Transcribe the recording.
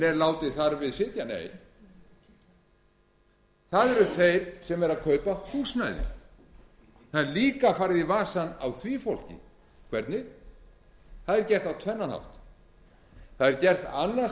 er látið þar við sitja nei það eru þeir sem eru að kaupa húsnæði það er líka farið í vasann á því fólki hvernig það er gert á tvennan hátt það er gert annars